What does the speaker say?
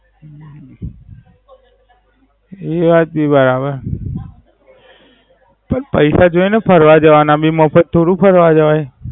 હમ એ વાત ભી બરાબર. પૈહા જોઈએ ને ફરવા જવાના ભી મફત થોડું ફરવા જવાય